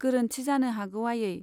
गोरोन्थि जानो हागौ आयै।